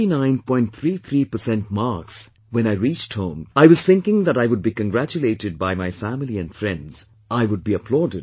33% marks when I reached home, I was thinking that I would be congratulated by my family and friends, I would be applauded